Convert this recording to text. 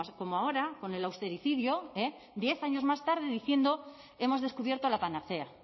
como ahora con el austericidio diez años más tarde diciendo hemos descubierto la panacea